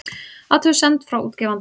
Athugasemd frá útgefanda